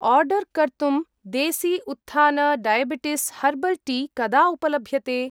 Order कर्तुं Desi Utthan diabetes herbal tea कदा उपलभ्यते?